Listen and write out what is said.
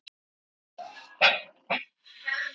Hvað var að gerast í dag?